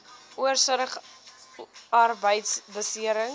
oorsig arbeidbeserings